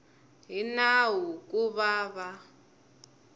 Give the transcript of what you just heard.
hi nawu ku va va